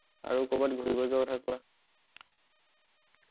আৰু কৰবাত ঘুৰিব যোৱাৰ কথা কোৱা